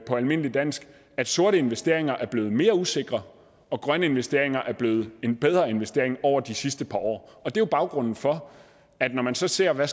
på almindeligt dansk at sorte investeringer er blevet mere usikre og grønne investeringer er blevet bedre investeringer over de sidste par år og det er jo baggrunden for at når man så ser hvad